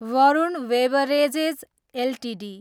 Varun beverages Ltd